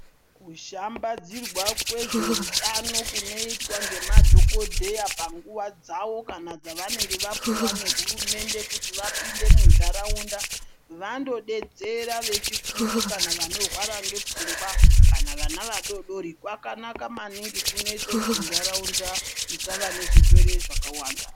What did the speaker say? Kushambadzirwa ngezveutano kunoitwa ngemadhokodheya panguwa dzavo kana dzavanenge vapuwa ngehurumende kuti vapinde munharaunda, vandodetsera vechikuru kana vanorwara ngepfungwa kana vana vadodori kwakanaka maningi kunoite kuti nharaunda isava nezvirwere zvakawanda.